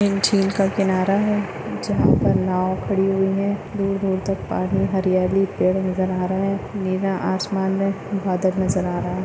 झील का किनारा है। जहा पर नाव खड़ी हुई है। दूर दूर तक पाणी हरियाली पेड़ नजर आ रहे है। नीला आसमान मे बादल नजर आ रहा है।